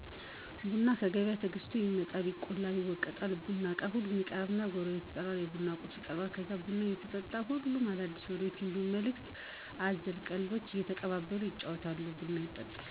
ቡናው ከገበያ ተገዝቶ ይመጣል፣ ይቆላል፣ ይወቀጣል፣ የቡናው እቃ ሁሉም ይቀረባል፣ ጎረቤት ይጠራል፣ የቡና ቁርስ ይቀረባል ከዛ ቡናው እየተጠጣ ሁሉም አዳዲሲ ወሬዎችን እንዲሁ መልክት አዘል ቀልዶችን እየተቀላለዱ እየተጫዎቱ ቡናውን ይጠጣሉ።